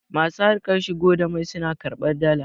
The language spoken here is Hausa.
masu harkar shigo da mai suna karbar Dala